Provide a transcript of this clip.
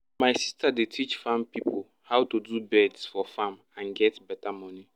my sister dey teach farm pipo how to do beds for farm and get beta money